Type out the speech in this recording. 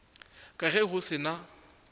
ka ge go se na